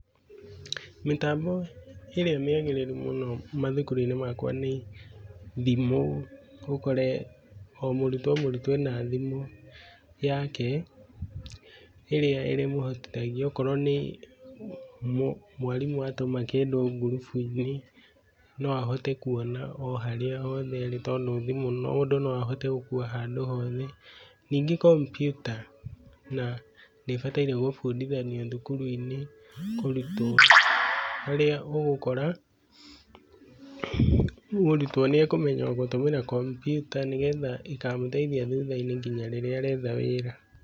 Mĩtambo ĩrĩa mĩagĩrĩru mũno mathukuru-inĩ makwa nĩ thimũ, ũkore o mũrutwo o mũrutwo ena thimũ yake ĩrĩa ĩrĩ mũhotithagia okorwo nĩ mwarimũ atuma kĩndũ ngurubu-inĩ no ahote kũona o harĩa hothe arĩ tondũ thimũ mũndũ no ahote gũkũa handũ hothe. Ningĩ kompyuta nĩ ĩbataire kũbũndĩthio cukuru-inĩ kũrĩa ũgũkora mũrũtwo nĩ akũmenya gũtũmĩra kompyuta nĩgetha ĩkamũteithia thuta-inĩ ngĩnya rĩrĩa aretha wĩra.